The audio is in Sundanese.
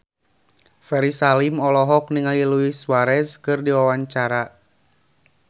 Ferry Salim olohok ningali Luis Suarez keur diwawancara